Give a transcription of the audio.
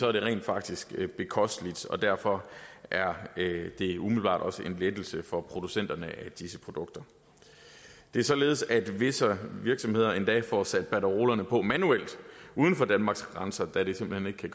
er det rent faktisk bekosteligt og derfor er det umiddelbart også en lettelse for producenterne af disse produkter det er således at visse virksomheder endda får sat banderolerne på manuelt uden for danmarks grænser da det simpelt hen ikke kan